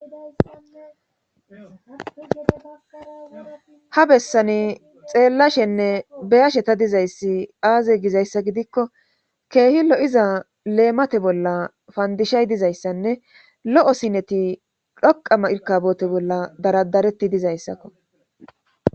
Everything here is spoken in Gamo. Ha bessani xeellashenne beyashe ta dizayssi aaze gizayssa gidikko keehi lo'iza leemate bolla fandishay dizayssanne lo'o sineti dhoqama irkabote bolla daradareti dizayssakko.